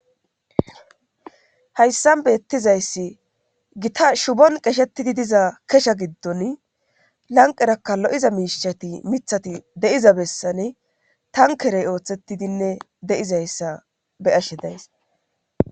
hayssan beettizayssi gita shubon qeshetidi diza kesha giddon lanqerakka lo7iza miishati mithati de7iza bessane tankerey ooththettidinne de7izayssa beyashshe days